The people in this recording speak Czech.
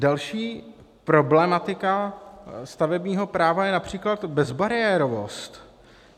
Další problematika stavebního práva je například bezbariérovost.